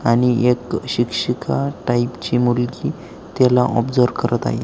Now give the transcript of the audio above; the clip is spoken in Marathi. आणि एक शिक्षिका टाइप ची मुलगी तिला ऑब्सर्व करत आहे.